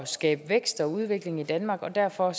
skabe vækst og udvikling i danmark og derfor